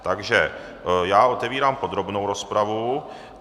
Takže já otevírám podrobnou rozpravu.